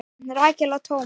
Rakel og Thomas.